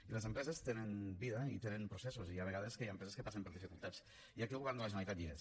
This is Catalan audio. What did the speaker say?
i les empreses tenen vida i tenen processos i hi ha vegades que hi ha empreses que passen per dificultats i aquí el govern de la generalitat hi és